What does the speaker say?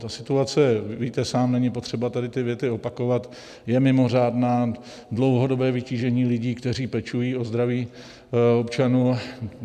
Ta situace, víte sám, není potřeba tady ty věty opakovat, je mimořádná, dlouhodobé vytížení lidí, kteří pečují o zdraví občanů.